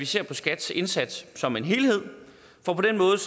se på skats indsats som en helhed for på den måde